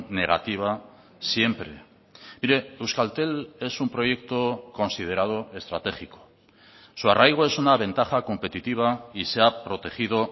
negativa siempre mire euskaltel es un proyecto considerado estratégico su arraigo es una ventaja competitiva y se ha protegido